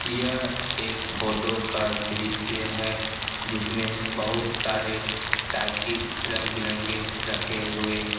यह एक फोटो का दृश्य है जिसमें बहुत सारे साइकिल रंग बिरंगे रखे हुए--